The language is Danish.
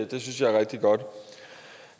det synes jeg er rigtig godt